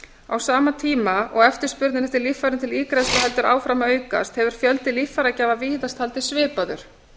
á sama tíma og eftirspurnin eftir líffærum til ígræðslu heldur áfram að aukast hefur fjöldi líffæragjafa víðast haldist svipaður